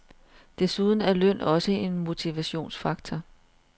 Desuden er løn også en motivationsfaktor.